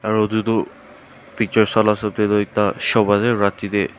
aro itutu pictures sa la hesap tey toh ekta shop ase rati tey.